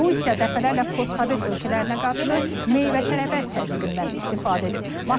Rusiya dəfələrlə postsovet ölkələrinə qarşı meyvə-tərəvəz təzyiqindən istifadə edib.